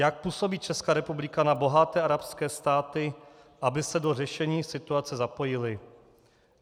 Jak působí Česká republika na bohaté arabské státy, aby se do řešení situace zapojily?